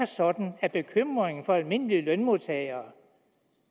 sådan at bekymringen for almindelige lønmodtagere